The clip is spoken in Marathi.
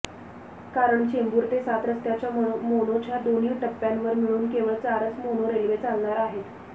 कारण चेंबूर ते सातरस्त्याच्या मोनोच्या दोन्ही टप्प्यांवर मिळून केवळ चारच मोनो रेल्वे चालणार आहेत